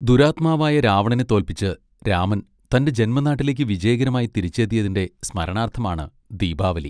ദുരാത്മാവായ രാവണനെ തോൽപ്പിച്ച് രാമൻ തന്റെ ജന്മനാട്ടിലേക്ക് വിജയകരമായി തിരിച്ചെത്തിയതിന്റെ സ്മരണാർത്ഥമാണ് ദീപാവലി.